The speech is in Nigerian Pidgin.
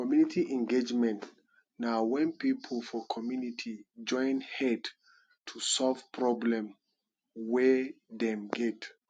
community engagement na when pipo for community join head to solve problem wey dem get